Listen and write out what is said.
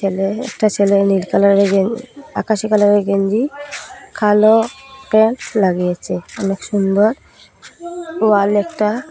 ছেলে একটা ছেলে নীল কালারের গেন আকাশি কালার -এর গেঞ্জি কালো প্যান্ট লাগিয়েছে অনেক সুন্দর ওয়াল একটা।